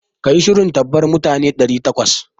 Ki yi shirin tarbar mutane ɗari takwas!